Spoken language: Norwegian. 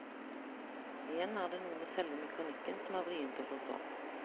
Igjen er det noe med selve mekanikken som er vrient å forstå.